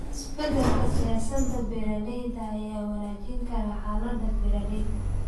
Isbedelka siyaasadaha beeralayda ayaa wanaajin kara xaalada beeralayda.